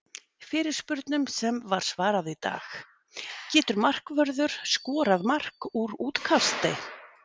Fyrirspurnum sem var svarað í dag:- Getur markvörður skorað mark úr útkasti?